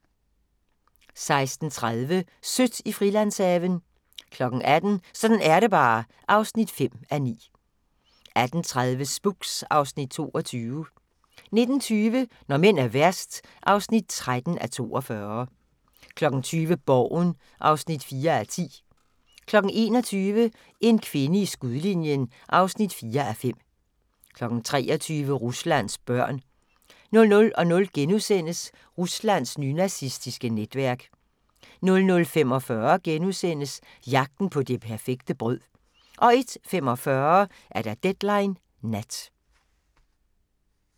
16:30: Sødt i Frilandshaven 18:00: Sådan er det bare (5:9) 18:30: Spooks (Afs. 22) 19:20: Når mænd er værst (13:42) 20:00: Borgen (4:10) 21:00: En kvinde i skudlinjen (4:5) 23:00: Ruslands børn 00:00: Ruslands nynazistiske netværk * 00:45: Jagten på det perfekte brød * 01:45: Deadline Nat